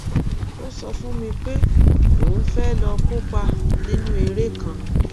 ó sọ fún mi pé òun fẹẹ lọọ kópa nínú eré kan